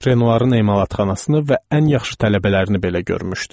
Renoirın emalatxanasını və ən yaxşı tələbələrini belə görmüşdüm.